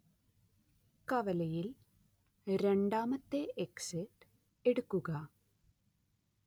കവലയിൽ രണ്ടാമത്തെ എക്സിറ്റ് എടുക്കുക